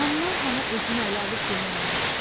Handan hana özümü ələ alıb dilləndim.